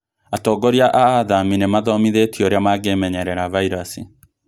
Atongoria a athami nĩmathomithĩtio ũrĩa mangĩmenyerera vairasi